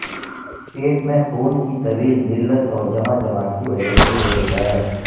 پیٹ میں خون کی طویل ذلت اور جمع جمع کی وجہ سے یہ ہوتا ہے